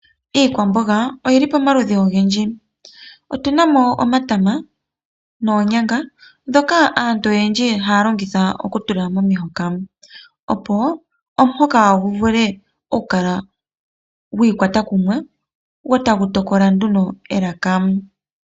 Iikwamboga oyili pamaludhi ogendji, otunamo omatama noonyanga, ndhoka aantu oyendji haya kongitha okutula momihoka. Opo omuhoka gu vule oku kala gwa ikwata kumwe go tagu tokola nduno elaka.